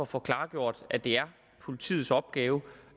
få klargjort at det er politiets opgave